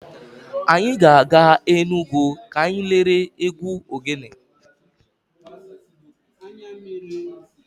Anyị ga-aga Enugwu ka anyị lere egwu ogele.